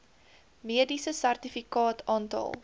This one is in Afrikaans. mediese sertifikaat aantal